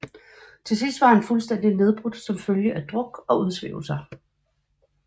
Til sidst var han fuldstændig nedbrudt som følge af druk og udsvævelser